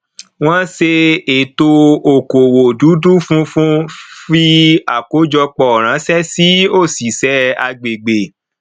wọn ṣe ètò okòwò dúdú funfun fí àkójọpọ ránṣẹ sí òṣìṣẹ agbègbè